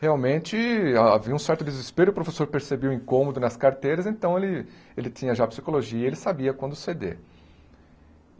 Realmente havia um certo desespero, o professor percebia o incômodo nas carteiras, então ele ele tinha já psicologia, ele sabia quando ceder.